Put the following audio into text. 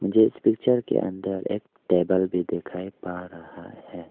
मुझे इस पिक्चर के अंदर एक टेबल भी दिखाई पा रहा है।